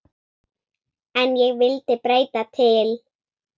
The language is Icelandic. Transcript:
En ég vildi breyta til.